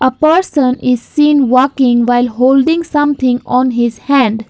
person is seen walking while holding something on his hand.